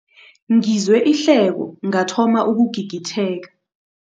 Ngizwe ihleko ngathoma ukugigitheka.